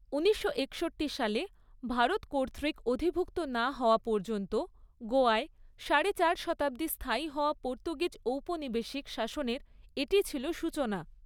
উনিশশো একষট্টি সালে ভারত কর্তৃক অধিভুক্ত না হওয়া পর্যন্ত গোয়ায় সাড়ে চার শতাব্দী স্থায়ী হওয়া পর্তুগিজ ঔপনিবেশিক শাসনের এটি ছিল সূচনা।